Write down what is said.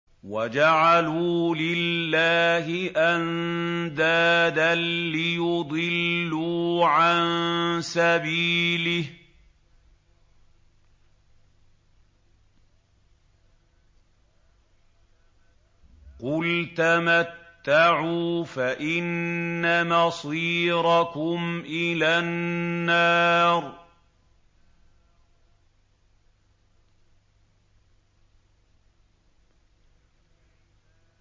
وَجَعَلُوا لِلَّهِ أَندَادًا لِّيُضِلُّوا عَن سَبِيلِهِ ۗ قُلْ تَمَتَّعُوا فَإِنَّ مَصِيرَكُمْ إِلَى النَّارِ